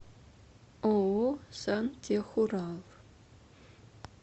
ооо сантехурал